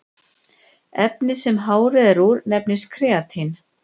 efnið sem hárið er úr nefnist keratín